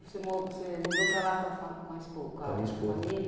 Você mu você mudou para lá com a fa com a espo com a família?